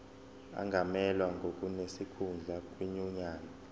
angamelwa ngonesikhundla kwinyunyane